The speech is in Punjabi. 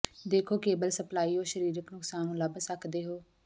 ਦੇਖੋ ਕੇਬਲ ਸਪਲਾਈ ਉਹ ਸਰੀਰਕ ਨੁਕਸਾਨ ਨੂੰ ਲੱਭ ਸਕਦੇ ਹੋ